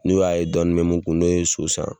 N'o y'a ye dɔɔni bɛ min kun, n'o ye so san,